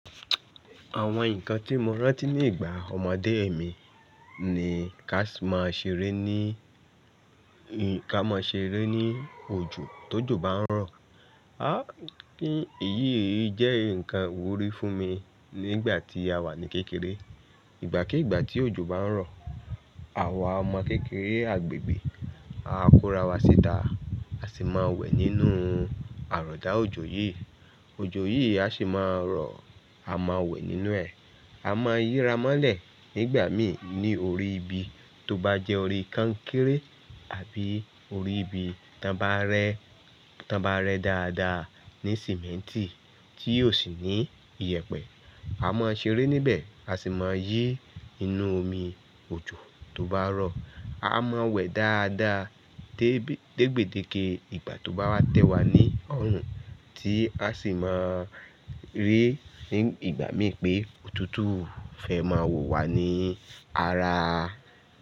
Àwọn nǹkan tí mo rántí ní ìgbà ọmọdé mi ni ká máa ṣeré ní, ká máa ṣeré ní òjò tó jò bá ń rọ̀. A kí èyí èyí jẹ́ ǹkan ìwúrí fún mi nígbà tí a wà ní kékeré. Ìgbàkí ìgbà tí òjò bá ń rọ̀, àwa ọmọ kékeré àgbègbè á korawa síta, a sì máa wẹ̀ nínú àrọ̀dá òjò yí. Òjò yí a sì máa rọ̀, a máa wẹ̀ nínú ẹ̀. A máa yíra mọ́lẹ̀ nígbà mi ní orí ibi tó bá jẹ́ orí kankéré àbí orí ibi tán bá rẹ, tán bá rẹ dáadáa ní símẹ́ntì tí ò sì ní iyẹ̀pẹ̀. A máa ṣeré níbẹ̀, a sì máa yí inú omi òjò tó bá rọ̀. A máa wẹ̀ dáadáa dégbèdéke ìgbà tó bá wá tẹ́ wa ní ọrùn tí a sì máa rí ní ìgbà mí pé òtútù fẹ́ máa wò wá ní ara.